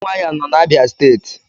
Umuahia no na Abia steeti